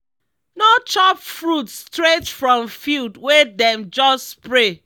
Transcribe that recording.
no chop fruit straight from field wey dem just spray.